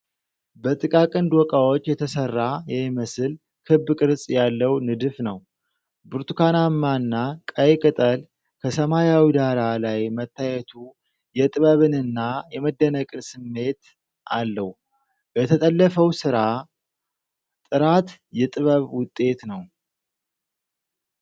በጥቃቅን ዶቃዎች የተሰራ የሚመስል ክብ ቅርጽ ያለው ንድፍ ነው። ብርቱካናማና ቀይ ቅጠል በሰማያዊ ዳራ ላይ መታየቱ የጥበብንና የመደነቅን ስሜት አለው፤ የተጠለፈው ሥራ ጥራት የጥበብ ውጤት ነው።